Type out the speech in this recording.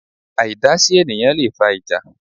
Àìdásí ènìyãn leè fa ìjà